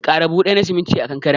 Ƙara buhu ɗaya na siminti a kankaren.